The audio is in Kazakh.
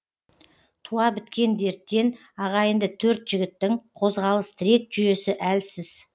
туа біткен дерттен ағайынды төрт жігіттің қозғалыс тірек жүйесі әлсіз